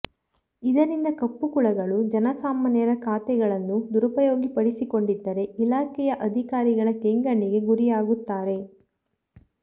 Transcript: ಇದರಿಂದ ಕಪ್ಪುಕುಳಗಳು ಜನಸಾಮಾನ್ಯರ ಖಾತೆಗಳನ್ನು ದುರುಪಯೋಗಪಡಿಸಿಕೊಂಡಿದ್ದರೆ ಇಲಾಖೆಯ ಅಧಿಕಾರಿಗಳ ಕೆಂಗಣ್ಣಿಗೆ ಗುರಿಯಾಗುತ್ತಾರೆ